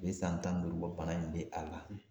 A bɛ san tan ni duuru bɔ bana in bɛ a la.